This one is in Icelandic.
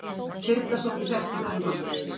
Þyrla sótti hjartveikan mann